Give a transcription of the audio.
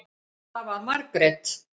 Það var Margrét.